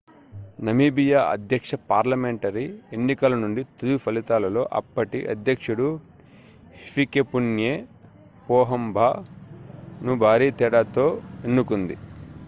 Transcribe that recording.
Namibia అధ్యక్ష parliamentary ఎన్నికల నుండి తుది ఫలితాలలో అప్పటి అధ్యక్షుడు హిఫికెపున్యే పోహంబా ను భారీ తేడాతో తిరిగి ఎన్నుకుంది